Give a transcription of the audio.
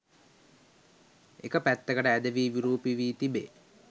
එක පැත්තකට ඇදවී විරූපී වී තිබෙ.